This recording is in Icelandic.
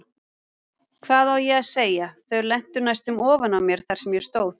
Hvað á ég að segja, þau lentu næstum ofan á mér þar sem ég stóð.